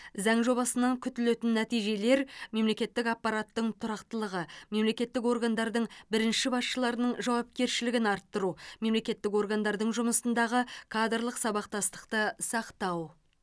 заң жобасынан күтілетін нәтижелер мемлекеттік аппараттың тұрақтылығы мемлекеттік органдардың бірінші басшыларының жауапкершілігін арттыру мемлекеттік органдардың жұмысындағы кадрлық сабақтастықты сақтау